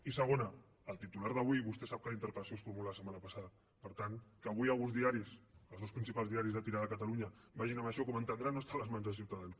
i segona el titular d’avui vostè sap que la interpel·lació es formula la setmana passada per tant que avui alguns diaris els dos principals diaris de tirada a catalunya vagin amb això com entendrà no està a les mans de ciutadans